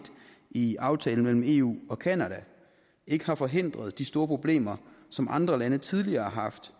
i aftalen mellem eu og canada ikke har forhindret de store problemer som andre lande tidligere har haft